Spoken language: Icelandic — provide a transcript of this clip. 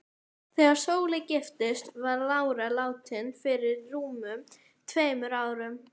Þegar Sóley giftist var lára látin fyrir rúmum tveimur árum.